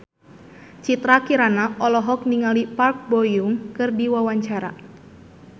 Citra Kirana olohok ningali Park Bo Yung keur diwawancara